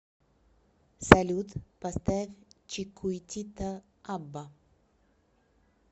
салют поставь чикуитита абба